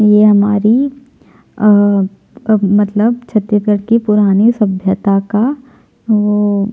ये हमारी अ अ अब मतलब छत्तीसगढ़ की पुरानी सभ्यता का वो--